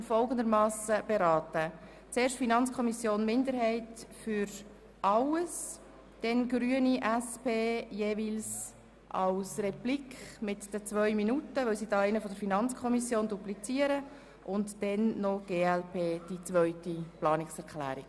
Es folgen die Grünen und die SP-JUSO-PSA-Fraktion jeweils als Replik mit den zwei Minuten Redezeit und dann die glp zur zweiten Planungserklärung.